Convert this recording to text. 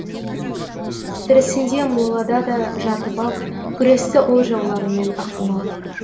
тірісінде молада да жатып ап күресті ол жауларымен ақымақ